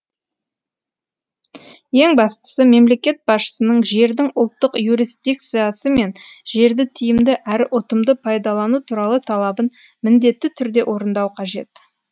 ең бастысы мемлекет басшысының жердің ұлттық юрисдикциясы мен жерді тиімді әрі ұтымды пайдалану туралы талабын міндетті түрде орындау қажет